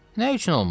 "Nə üçün olmur?